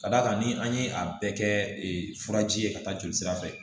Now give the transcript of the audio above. Ka d'a kan ni an ye a bɛɛ kɛ furaji ye ka taa jolisira fɛ